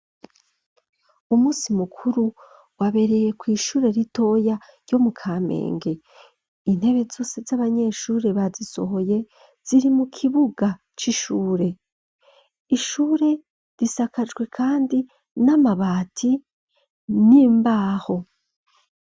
Umusi mukuru wabereye kw'ishure ritoya ryo mu ka menge intebe zose z'abanyeshure bazisohoye ziri mu kibuga c'ishure ishure risakajwe, kandi n'amabati n'imbaho.